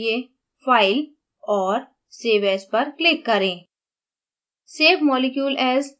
file save करने के लिए fileऔर save asपर click करें